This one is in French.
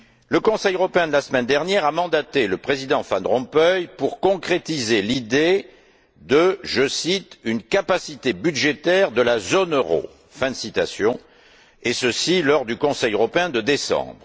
Le Conseil européen de la semaine dernière a mandaté le président Van Rompuy pour concrétiser l'idée je cite d'une capacité budgétaire de la zone euro, et ceci lors du Conseil européen de décembre.